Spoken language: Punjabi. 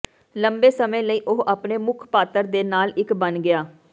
ਲੰਬੇ ਸਮੇਂ ਲਈ ਉਹ ਆਪਣੇ ਮੁੱਖ ਪਾਤਰ ਦੇ ਨਾਲ ਇੱਕ ਬਣ ਗਿਆ